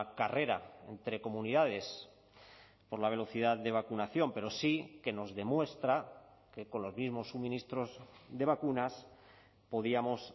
carrera entre comunidades por la velocidad de vacunación pero sí que nos demuestra que con los mismos suministros de vacunas podíamos